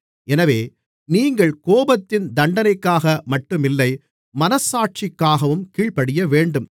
எனவே நீங்கள் கோபத்தின் தண்டனைக்காக மட்டுமில்லை மனச்சாட்சிக்காகவும் கீழ்ப்படியவேண்டும்